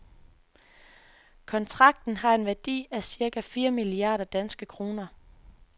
Kontrakten har en værdi af cirka fire milliarder danske kroner.